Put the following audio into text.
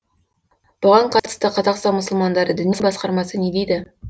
бұған қатысты қазақстан мұсылмандары діни басқармасы не дейді